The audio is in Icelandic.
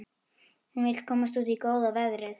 Hún vill komast út í góða veðrið.